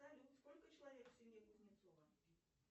салют сколько человек в семье кузнецова